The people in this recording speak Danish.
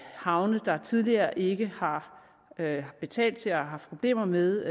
havne der tidligere ikke har betalt til eller haft problemer med